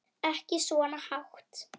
Ekki svona hátt.